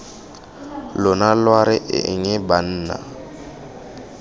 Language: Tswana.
lona lwa re eng banna